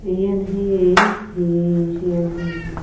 eyen hehe he he siyen